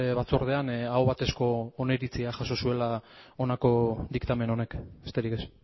batzordean aho batezko oniritzia jaso zuela honako diktamen honek besterik ez